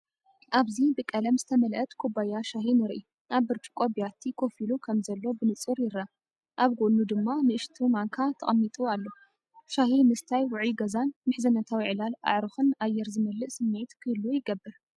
ኣብዚ፡ ብቀለም ዝተመልአት ኩባያ ሻሂ ንርኢ። ኣብ ብርጭቆ ብያቲ ኮፍ ኢሉ ከምዘሎ ብንጹር ይርአ፣ ኣብ ጎድኑ ድማ ንእሽቶ ማንካ ተቐሚጡ ኣሎ። ሻሂ ምሰታይ ውዑይ ገዛን ምሕዝነታዊ ዕላል ኣዕሩኽን ኣየር ዝመልእ ስምዒት ክህሉ ይገብር።